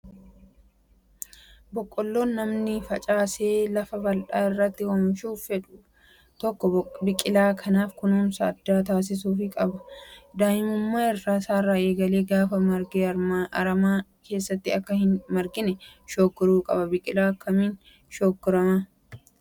Boqqoolloo namni facaasee lafa bal'aa irratti oomishuu fedhu tokko biqilaa kanaaf kunuunsa addaa taasisuufii qaba. Daa'imummaa isaarraa eegalee gaafa marge aramaan keessatti akka hin margine shoggoramuu qaba. Biqilaa kana akkamiin shoggorraa?